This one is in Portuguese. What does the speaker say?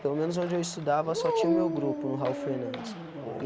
Pelo menos onde eu estudava só tinha o meu grupo, no Hall Fernandes.